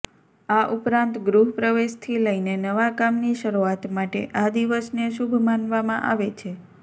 આ ઉપરાંત ગૃહ પ્રવેશથી લઈને નવા કામની શરૂઆત માટે આ દિવસને શુભ માનવામાં આવે છે